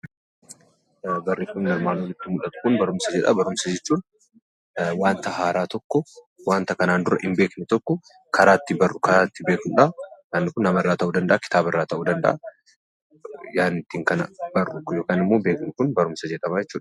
Barreeffamni armaan olitti mul'atu kun, barumsa jedha. Barumsa jechuun waanta haaraa tokko, waanta duraan hin beekne tokko karaa ittiin barruu, karaa ittiin agarudha. Inni Kun nama irraa ta'uu danda'a tooftaan ittiin arginu yookaan beeknu Kun barumsa jedhama jechuudha.